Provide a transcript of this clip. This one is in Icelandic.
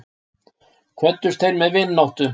Kvöddust þeir með vináttu.